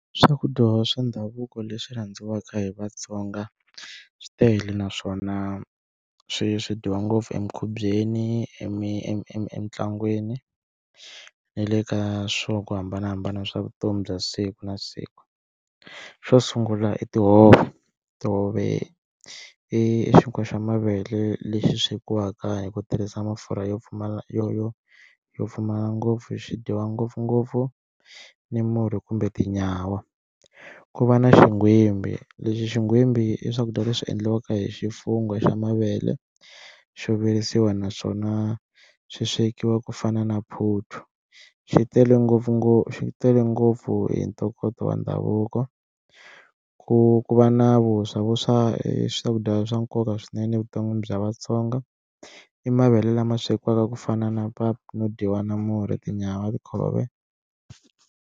Swakudya swa ndhavuko leswi rhandziwaka hi Vatsonga swi tele naswona swi swi dyiwa ngopfu emikhubyeni, emitlangwini ni le ka swo hambanahambana swa vutomi bya siku na siku, xo sungula i tihove tihove i xinkwa xa mavele lexi swekiwaka hi ku tirhisa mafurha yo pfumala yo yo yo pfumala ngopfu xidyiwa ngopfungopfu ni murhi kumbe tinyawa, ku va na xigwimbhi lexi xigwimbhi i swakudya leswi endliwaka hi xifungho xa mavele xo virisiwa naswona swi swekiwa ku fana na phuthu xi tele ngopfungopfu xi tele ngopfu hi ntokoto wa ndhavuko, ku ku va na vuswa vuswa i swakudya swa nkoka swinene evuton'wini bya Vatsonga i mavele lama swekiwaka ku fana na pap no dyiwa na murhi, tinyawa ti .